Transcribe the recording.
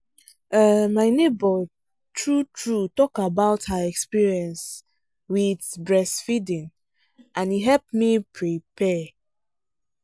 um my neighbor true true talk about her experience um with breast feeding and e help me prepare.